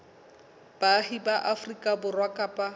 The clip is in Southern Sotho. baahi ba afrika borwa kapa